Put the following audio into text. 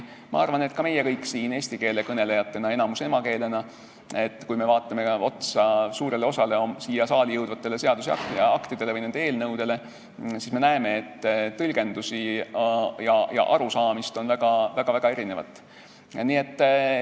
Ma arvan, et kui ka meie kõik siin eesti keele kõnelejatena, kellest enamik räägib seda keelt emakeelena, vaatame suurt osa siia saali jõudvaid õigusakte või nende eelnõusid, siis me näeme, et tõlgendusi ja arusaamisi on väga-väga erinevaid.